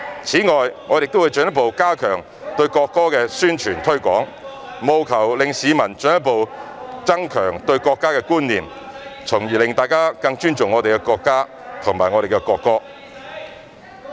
此外，我們亦會進一步加強對國歌的宣傳和推廣，務求令市民進一步增強對國家的觀念，從而令大家更尊重我們的國家和國歌。